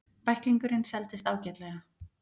Bæklingurinn seldist ágætlega.